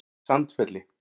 Sandfelli